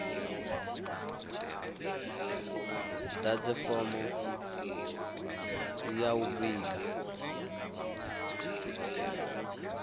ḓadze fomo ya u vhiga